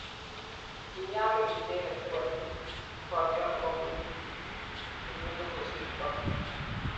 kiinyalul icheke borye nebo kenyot ne kosirtoi